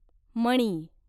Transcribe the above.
मणी